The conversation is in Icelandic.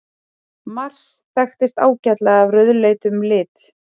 Mars þekkist ágætlega af rauðleitum lit.